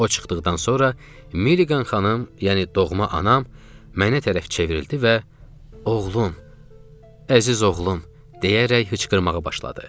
O çıxdıqdan sonra Milligan xanım, yəni doğma anam, mənə tərəf çevrildi və oğlum, əziz oğlum, deyərək hıçqırmağa başladı.